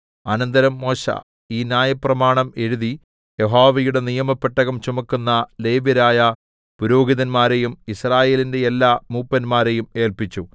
അനന്തരം മോശെ ഈ ന്യായപ്രമാണം എഴുതി യഹോവയുടെ നിയമപെട്ടകം ചുമക്കുന്ന ലേവ്യരായ പുരോഹിതന്മാരെയും യിസ്രായേലിന്റെ എല്ലാ മൂപ്പന്മാരെയും ഏല്പിച്ചു